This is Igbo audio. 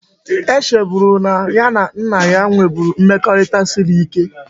E cheburu na ya na nna ya nweburu mmekorita siri ike